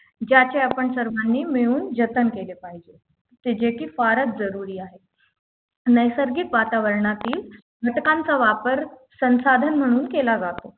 ज्याच्या आपण सर्वांनी मिळून जतन केली पाहिजे ते जे की फारच जरुरी आहे नैसर्गिक वातावरणातील घटकांचा वापर संसाधन म्हणून केला जातो